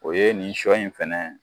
O ye nin shɔ in fɛnɛ